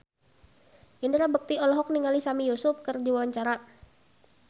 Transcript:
Indra Bekti olohok ningali Sami Yusuf keur diwawancara